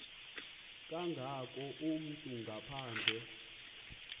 kangako umntu ngaphandle